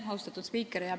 Austatud spiiker!